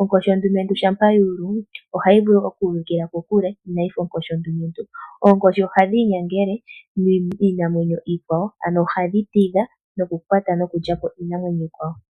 Onkoshi ondumentu ngele yuulu ohayi uvikila kokule. Oonkoshi ohadhi inyangele miinamwenyo iikwawo ano hadhi tidha iinamwenyo iikwawo.